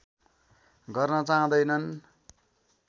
गर्न चाहँदैनन्